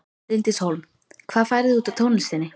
Bryndís Hólm: Hvað færðu út úr tónlistinni?